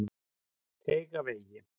Teigavegi